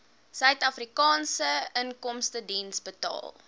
suidafrikaanse inkomstediens betaal